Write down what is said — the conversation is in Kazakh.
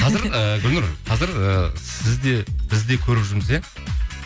қазір ііі гүлнұр қазір і сіз де біз де көріп жүрміз иә